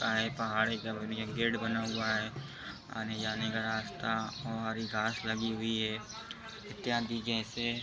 यहाँ एक पहाड़ी सी बनी है। गेट बना हुआ है आने जाने का रास्ता और ये घास लगी हुई है। इत्यादि जैसे --